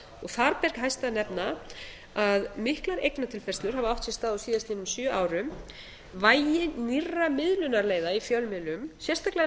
þar ber hæst að nefna að miklar eignatilfærslur hafa átt sér stað á síðastliðnum sjö árum vægi nýrra miðlunarleiða í fjölmiðlum sérstaklega